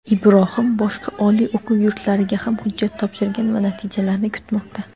Ibrohim boshqa oliy o‘quv yurtlariga ham hujjat topshirgan va natijalarni kutmoqda.